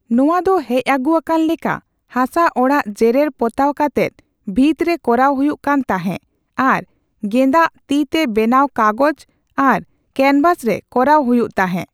ᱱᱚᱣᱟ ᱫᱚ ᱦᱮᱡ ᱟᱹᱜᱩ ᱟᱠᱟᱱ ᱞᱮᱠᱟ ᱦᱟᱥᱟ ᱚᱲᱟᱜ ᱡᱮᱨᱮᱲᱼᱯᱚᱛᱟᱣ ᱠᱟᱛᱮᱫ ᱵᱷᱤᱛ ᱨᱮ ᱠᱚᱨᱟᱣ ᱦᱩᱭᱩᱜ ᱠᱟᱱ ᱛᱟᱦᱮᱸ ᱟᱨ ᱜᱮᱸᱫᱟᱜ, ᱛᱤ ᱛᱮ ᱵᱮᱱᱟᱣ ᱠᱟᱜᱚᱡ ᱟᱨ ᱠᱮᱱᱵᱷᱟᱥ ᱨᱮ ᱠᱚᱨᱟᱣ ᱦᱩᱭᱩᱜ ᱛᱟᱦᱮᱸ ᱾